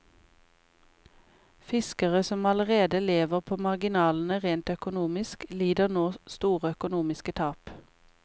Fiskere som allerede lever på marginalene rent økonomisk, lider nå store økonomiske tap.